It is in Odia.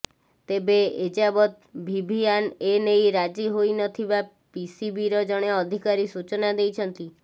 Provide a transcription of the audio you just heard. ତେବେ ଏଯାବତ୍ ଭିଭିଆନ୍ ଏ ନେଇ ରାଜି ହୋଇ ନ ଥିବା ପିସିବିର ଜଣେ ଅଧିକାରୀ ସୂଚନା ଦେଇଛନ୍ତି